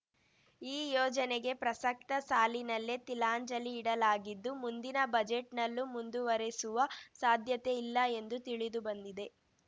ಈ ಯೋಜನೆಗೆ ಪ್ರಸಕ್ತ ಸಾಲಿನಲ್ಲೇ ತಿಲಾಂಜಲಿ ಇಡಲಾಗಿದ್ದು ಮುಂದಿನ ಬಜೆಟ್‌ನಲ್ಲೂ ಮುಂದುವರೆಸುವ ಸಾಧ್ಯತೆ ಇಲ್ಲ ಎಂದು ತಿಳಿದುಬಂದಿದೆ